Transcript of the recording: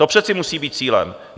To přece musí být cílem.